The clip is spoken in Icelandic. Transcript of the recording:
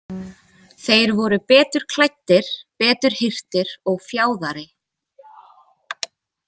Þeir voru betur klæddir, betur hirtir og fjáðari.